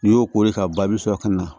N'i y'o kori ka ba bi sɔrɔ ka na